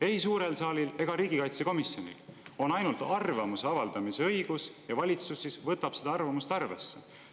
Ei suurel saalil ega riigikaitsekomisjonil pole otsustusõigust, on ainult arvamuse avaldamise õigus ja valitsus võtab seda arvamust arvesse.